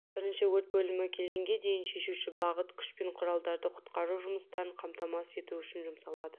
бірінші өрт бөлімі келгенге дейін шешуші бағыт күш пен құралдары құтқару жұмыстарын қамтамасыз ету үшін жұмсалады